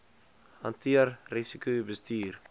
hanteer risiko bestuur